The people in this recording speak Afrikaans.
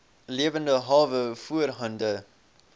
lewende hawe voorhande